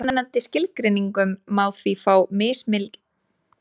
Með mismunandi skilgreiningum má því fá mismikinn fjölda íþróttagreina.